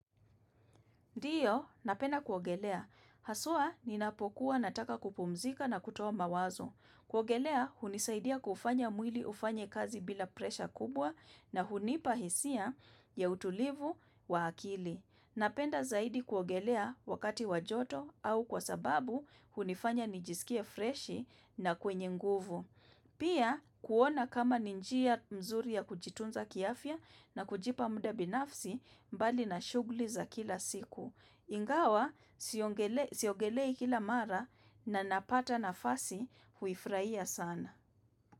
Ndiyo, napenda kuogelea. Haswa, ninapokuwa nataka kupumzika na kutoa mawazo. Kuogelea, hunisaidia kufanya mwili ufanye kazi bila presha kubwa na hunipahisia ya utulivu wa akili. Napenda zaidi kuogelea wakati wajoto au kwa sababu hunifanya nijisikie freshi na kwenye nguvu. Pia, kuona kama ninjia mzuri ya kujitunza kiafya na kujipa mda binafsi mbali na shugli za kila siku. Ingawa siogelei kila mara na napata na fasi huifrahia sana.